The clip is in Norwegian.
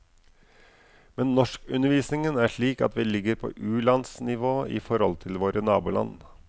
Men norskundervisningen er slik at vi ligger på ulandsnivå i forhold til våre naboland.